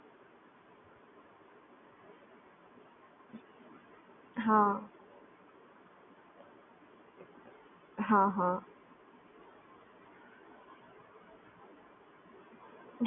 હા હા